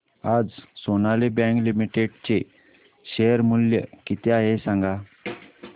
आज Sonali bank limited चे share मूल्य किती आहे सांगा